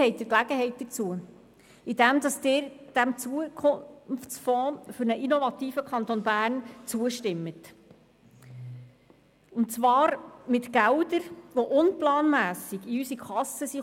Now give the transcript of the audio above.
Jetzt haben Sie die Gelegenheit dazu, indem Sie diesem Zukunftsfonds für einen innovativen Kanton Bern zustimmen, und zwar mit Geldern, die unplanmässig in unsere Kasse gekommen sind.